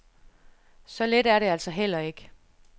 Så let er det altså heller ikke.